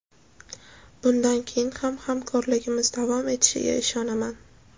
Bundan keyin ham hamkorligimiz davom etishiga ishonaman.